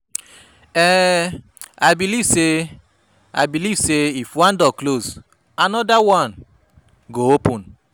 um I believe sey, believe sey, if one door close, anoda one go open.